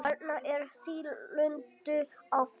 Þarna er nýlunda á ferð.